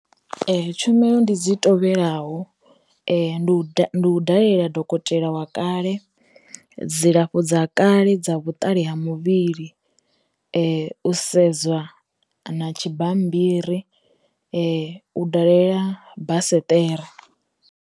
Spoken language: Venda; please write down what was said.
Tshumelo ndi dzi tovhelaho, ndi u dalela dokotela wa kale, dzilafho dza kale dza vhuṱali ha muvhili, u sedza na tshi bammbiri, u dalela basiṱera.